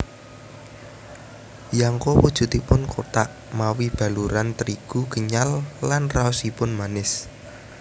Yangko wujudipun kothak mawi baluran trigu kenyal lan raosipun manis